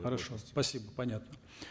хорошо спасибо понятно